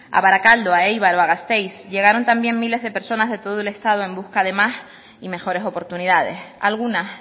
a barakaldo a eibar o a gasteiz llegaron también miles de personas de todo el estado en busca de más y mejores oportunidades algunas